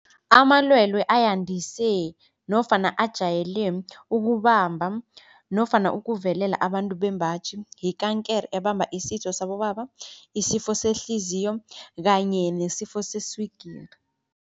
Amalwelwe ayandise nofana ajayele ukubamba nofana ukuvelela abantu bembaji yikankere ebamba isitho sabobaba, isifo sehliziyo kanye nesifo seswigiri.